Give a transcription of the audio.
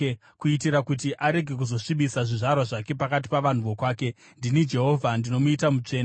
kuitira kuti arege kuzosvibisa zvizvarwa zvake pakati pavanhu vokwake. Ndini Jehovha ndinomuita mutsvene.’ ”